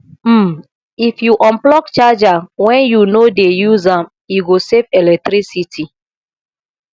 um if you unplug charger when you no dey use am e go save electricity